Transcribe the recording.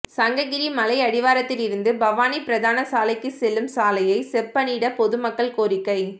சங்ககிரி மலையடிவாரத்திலிருந்து பவானி பிரதான சாலைக்கு செல்லும் சாலையை செப்பனிட பொதுமக்கள் கோரிக்கை